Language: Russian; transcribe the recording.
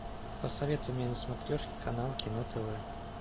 посоветуй мне на смотрешке канал кино тв